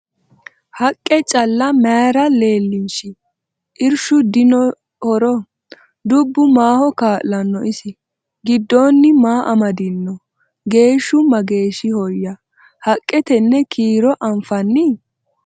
Haqqe calla mayiira leelinshi? Irishu dinno horo? Dubbu maaho kaa'lanooho isi? Gidoonni maa amadinno? Geeshu mageehoya? haqqe tenne kiiro anfanni?